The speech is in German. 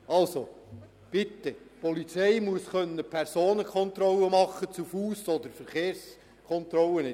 Also bitte: Die Polizei muss Personenkontrollen vornehmen können, ob zu Fuss oder mit einem Fahrzeug.